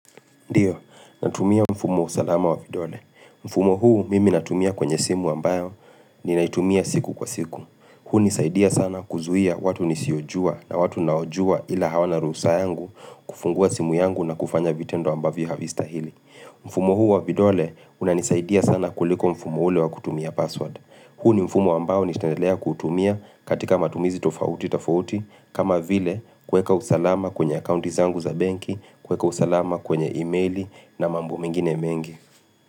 Ndiyo, natumia mfumo usalama wa vidole. Mfumo huu mimi natumia kwenye simu ambayo ni naitumia siku kwa siku. Huu hunisaidia sana kuzuia watu nisiojua na watu naojua ila hawana ruhusa yangu kufungua simu yangu na kufanya vitendo ambavyo havista hili. Mfumo huu wa vidole unanisaidia sana kuliko mfumo ule wa kutumia password. Huu ni mfumo ambao nitaendelea kutumia katika matumizi tofauti tafauti, kama vile kweka usalama kwenye accounti zangu za banki, kweka usalama kwenye emaili na mambo mingine mengi.